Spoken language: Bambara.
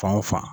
Fan o fan